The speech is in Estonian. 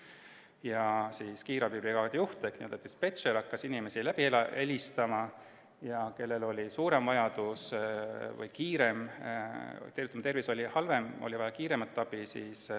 Siis hakkas kiirabibrigaadi juht ehk dispetšer inimesi läbi helistama, et kellel on suurem ja kiirem abivajadus, tervis on halvem.